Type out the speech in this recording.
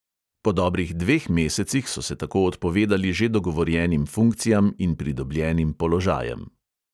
Po dobrih dveh mesecih so se tako odpovedali že dogovorjenim funkcijam in pridobljenim položajem.